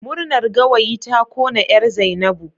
Murnar gawayi ta kona 'yar Zainab